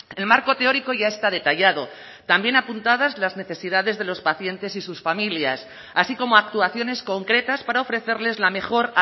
el marco teórico ya está detallado también apuntadas las necesidades de los pacientes y sus familias así como actuaciones concretas para ofrecerles la mejor